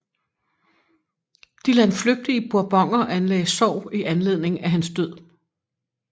De landflygtige Bourboner anlagde sorg i anledning af hans død